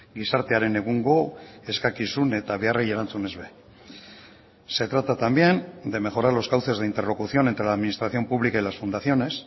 gizartearen egungo eskakizun eta beharrei erantzunez ere se trata también de mejorar los cauces de interlocución entre la administración pública y las fundaciones